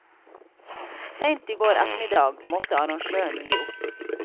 Sent i går ettermiddag måtte arrangøren gi opp.